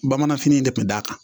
Bamananfini de tun d'a kan